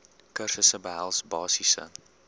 kursusse behels basiese